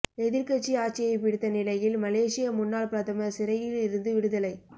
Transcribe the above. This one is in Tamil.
எதிர்க்கட்சி ஆட்சியை பிடித்த நிலையில் மலேசிய முன்னாள் பிரதமர் சிறையில் இருந்து விடுதலை